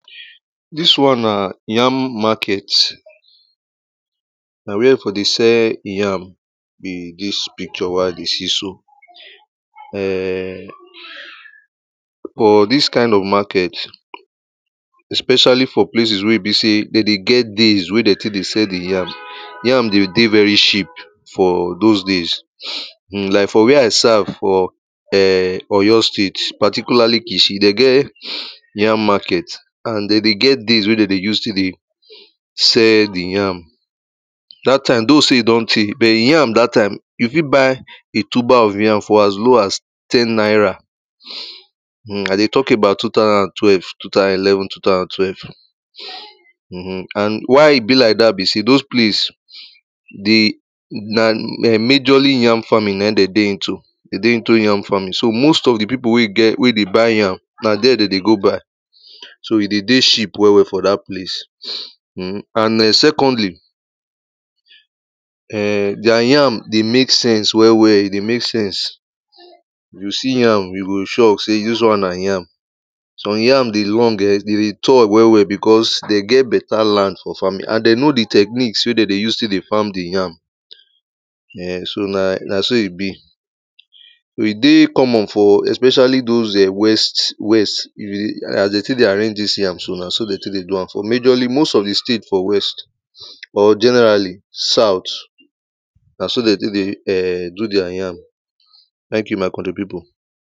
Dis one na yam market, na where dem for dey sell yam be dis picture wey I dey see so, um but dis kind of market especially for places wey be sey dem dey get days wey dey tek dey sell di yam, yam dey dey very cheap for dose days. um like for where I serve for um oyo state particularly kishi dey get yam market and dem dey get days wey dem dey use tek dey sell di yam. Dat time though sey e don tey but yam dat time you fit buy a tuber of yam for as low as ten naira, um I dey tok about two thousand and twelve, two thousand and eleven, two thousand and twelve um and why e be like dat be sey dose place dey na majority yam farming na dem dey into, dem dey into yam farming so most of di pipo wey dey buy yam na dere dem dey go buy. So e dey dey cheap well well for dat place um and secondly, um deir yam dey mek sense well well, e dey mek sense you go see yam you go sure sey dis one na yam. Some yam dey long ehn, dem dey tall well well becos dem get better land for farming and dey know di techniques wey dem dey use tek dey farm di yam um na so e be. E dey common for especially dose west, west and as dem tek dey arrange dis yam so na dem tek dey do am. For majority most of di state for west or generally south na so dem tek dey do um deir yam. Thank you my country pipo.